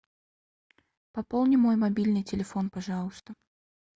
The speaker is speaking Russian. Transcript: пополни мой мобильный телефон пожалуйста